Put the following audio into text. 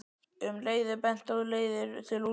Um leið er bent á leiðir til úrbóta.